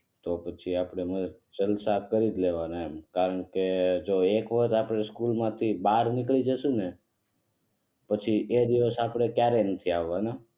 તો પછી આપણે ક્ષણો સાથ કરીજ લેવાના એમ કારણકે જો એક વાર આપડે સ્કૂલ માંથી પછી એ દિવસ પાંછા ક્યારેય નથી આવવાના